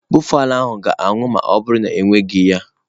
Buffalo ahụ ga-anwụ ma ọ bụrụ na ewereghị ya.